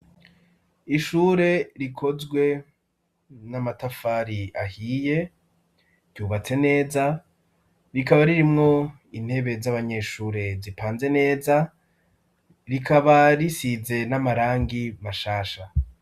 Ishure rikozwe n'amatafari ahiye, ryubatse neza, rikaba ririmwo intebe z'abanyeshure zipanze neza, rikaba risize n'amarangi mashasha.